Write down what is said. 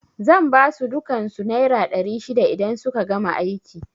Zan basu dukan su naira ɗari shida idan suka gama aiki